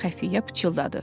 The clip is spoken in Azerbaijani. Xəfiyyə pıçıldadı.